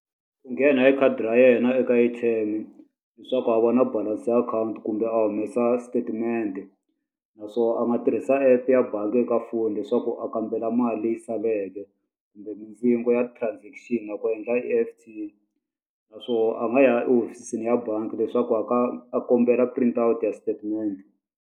Ku nghena hi khadi ra yena eka A_T_M leswaku a vona balance-i ya akhawunti kumbe a humesa statement-e. Naswona a nga tirhisa app-u ya bangi eka foni leswaku a kambela mali leyi saleke, kumbe mindzingo ya transaction ya ku endla E_F_T. Naswona a nga ya emahofisini ya bangi leswaku a a kombela print ya statement.